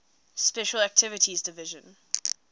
special activities division